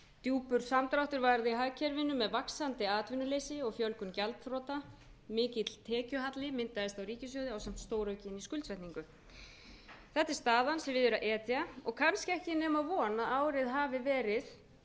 djúpur samdráttur varð í hagkerfinu með vaxandi atvinnuleysi og fjölgun gjaldþrota mikill tekjuhalli myndaðist á ríkissjóði ásamt stóraukinni skuldsetningu þessi er staðan sem við er að etja og kannski ekki nema von að árið hafi verið